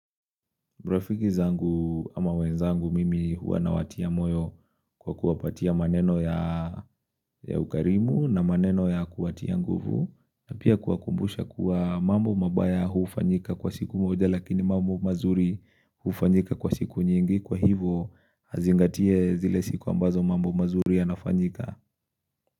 Marafiki zangu ama wenzangu mimi huwa nawatia moyo kwa kuwapatia maneno ya ukarimu na maneno ya kuwatia nguvu. Na pia kuwakumbusha kuwa mambo mabaya hufanyika kwa siku moja lakini mambo mazuri hufanyika kwa siku nyingi kwa hivo azingatie zile siku ambazo mambo mazuri yanafanyika.